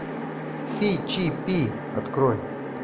фи чи пи открой